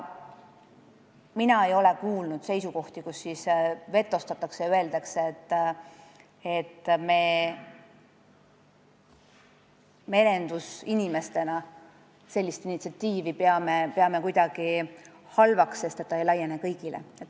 Mina ei ole seal kuulnud vetostavaid seisukohti, millega öeldakse, et me merendusinimestena peame sellist initsiatiivi kuidagi halvaks, sest see ei laiene kõigile.